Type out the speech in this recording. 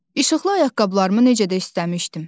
İşıqlı ayaqqabılarımı necə də istəmişdim.